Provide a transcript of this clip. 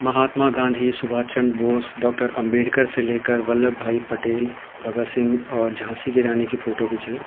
महात्मा Gandhi Subhash Chandra Bose doctor Ambedkar से लेकर वल्लभ भाई पटेल भगत सिंह और झाँसी की रानी की फोटो भी च।